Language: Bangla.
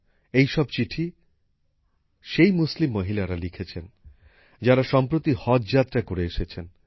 এই সব চিঠি সেই মুসলিম মহিলারা লিখেছেন যারা সম্প্রতি হজযাত্রা করে এসেছেন